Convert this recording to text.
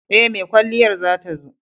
E, mai kwalliyar za ta zo.